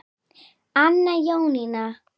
Anna Jónína.